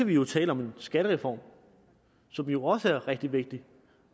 vi jo tale om en skattereform som jo også er rigtig vigtig